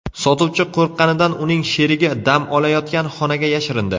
Sotuvchi qo‘rqqanidan uning sherigi dam olayotgan xonaga yashirindi.